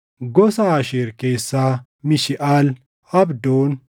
gosa Aasheer keessaa Mishiʼaal, Abdoon,